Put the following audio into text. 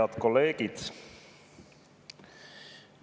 Head kolleegid!